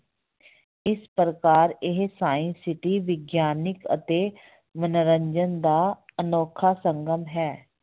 ਇਸ ਪ੍ਰਕਾਰ ਇਹ science city ਵਿਗਿਆਨਕ ਅਤੇ ਮਨੋਰੰਜਨ ਦਾ ਅਨੌਖਾ ਸੰਗਮ ਹੈ।